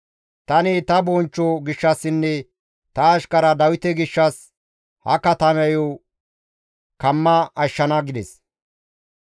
Tani ta bonchcho gishshassinne ta ashkara Dawite gishshas, ha katamayo kamma ashshana» gides.